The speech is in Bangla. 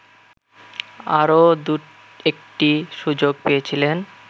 আরো দু-একটি সুযোগ পেয়েছিলেন